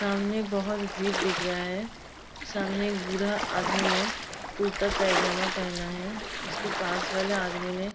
सामने बहोत भीर दिख रहा है। सामने एक बूढ़ा आदमी ने कुरता पैजामा पहना है उसके पास वाले आदमी ने --